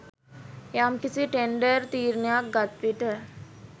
යම්කිසි ටෙන්ඩර් තීරණයක් ගත්විට